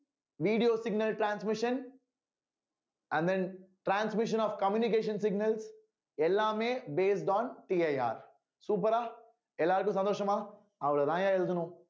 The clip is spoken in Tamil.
video signal transmission i mean transmission of communication signals எல்லாமே based onCIRsuper ஆ எல்லாருக்கும் சந்தோஷமா அவ்வளவுதாய்யா எழுதணும்